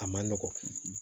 A man nɔgɔn